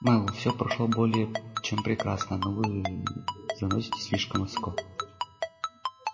мэллоу все прошло более чем прекрасно но вы заноситесь слишком высоко